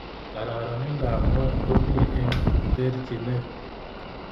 Kararaindap ngony komi eng terchinet